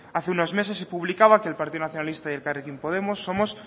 hace unos meses se publicaba que el partido nacionalista y elkarrekin podemos somos